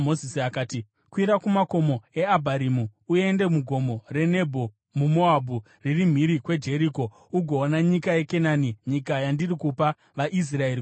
“Kwira kumakomo eAbharimu uende mugomo reNebho muMoabhu, riri mhiri kweJeriko, ugoona nyika yeKenani, nyika yandiri kupa vaIsraeri kuti ive yavo.